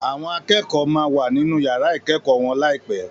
Àwọn akẹ́kọ̀ọ́ máa wà nínú yàrá ìkẹ́kọ̀ọ́ wọn láìpé